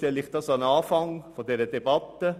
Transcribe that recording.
Deshalb stelle ich dies an den Anfang der Debatte: